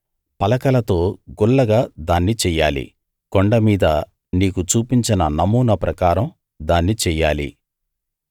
పలకలతో గుల్లగా దాన్ని చెయ్యాలి కొండ మీద నీకు చూపించిన నమూనా ప్రకారం దాన్ని చెయ్యాలి